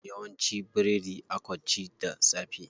Yawanci biredi akw ci da safe.